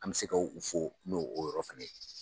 An mɛ se ka u fo no o yɔrɔ fana ye.